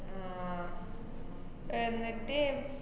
ആഹ് എന്നിട്ട്?